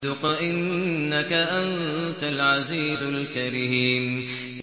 ذُقْ إِنَّكَ أَنتَ الْعَزِيزُ الْكَرِيمُ